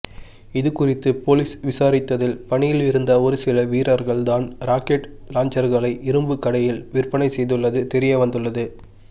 இதுகுறித்து போலீஸ் விசாரித்ததில் பணியில் இருந்த ஒருசில வீர்ர்கள் தான் ராக்கெட் லாஞ்சரகளை இரும்பு கடையில் விற்பனை செய்துள்ளது தெரியவந்துள்ளது